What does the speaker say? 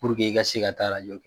i ka se ka taa rajɔ kɛ.